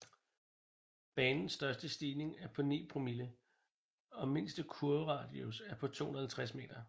Banens største stigning er på 9 promille og mindste kurveradius er på 250 meter